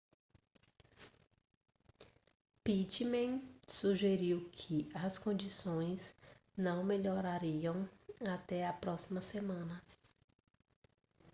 pittman sugeriu que as condições não melhorariam até a próxima semana